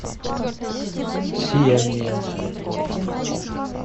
сияние